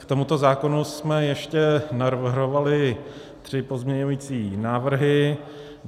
K tomuto zákonu jsme ještě navrhovali tři pozměňující návrhy.